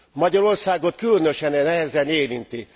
Magyarországot különösen nehezen érinti.